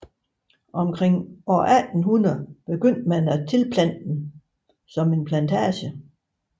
Omkring 1800 begyndte man at tilplante det som en plantage